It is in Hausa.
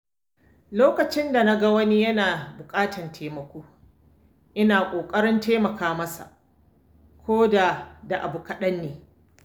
Lokacin da na ga wani yana buƙatar taimako, ina ƙoƙarin taimaka masa ko da da abu kaɗanne.